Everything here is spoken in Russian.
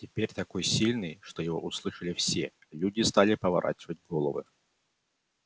теперь такой сильный что его услышали все люди стали поворачивать головы